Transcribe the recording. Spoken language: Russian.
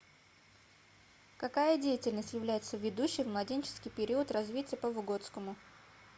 какая деятельность является ведущей в младенческий период развития по выготскому